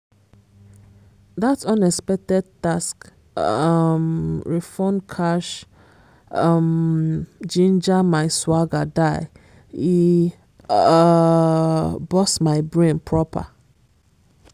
that unexpected tax um refund cash um ginger my swagger die e um burst my brain proper!